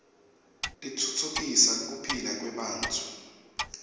titfutfukisa kuphila kwebantfu